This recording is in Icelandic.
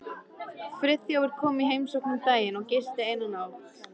Friðþjófur kom í heimsókn um daginn og gisti eina nótt.